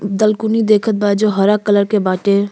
दलकोनी देखत बा जो हरा कलर के बाटे।